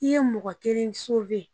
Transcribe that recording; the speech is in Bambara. I ye mɔgɔ kelen